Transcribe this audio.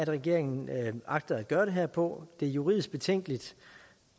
regeringen agter at gøre det her på det er juridisk betænkeligt